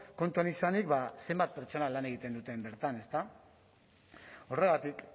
kontuan izanik ba zenbat pertsonek lan egiten duten bertan ezta horregatik